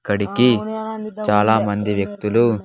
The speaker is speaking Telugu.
ఇక్కడికి చాలామంది వ్యక్తులు.